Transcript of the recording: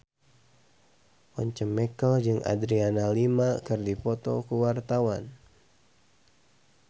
Once Mekel jeung Adriana Lima keur dipoto ku wartawan